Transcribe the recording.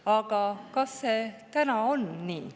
Aga kas see on nii?